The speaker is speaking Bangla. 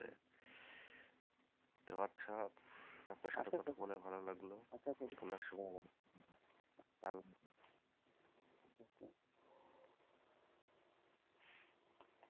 আপনার সাথে কথা বলে ভালো লাগলো,